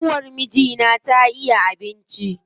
ƙanwar mijina ta iya abinci.